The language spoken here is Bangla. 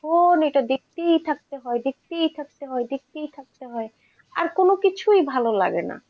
এটা দেখতেই থাকতে হয়, দেখতেই থাকতে হয়, দেখতেই থাকতে হয়, আর কোন কিছুই ভালো লাগেনা।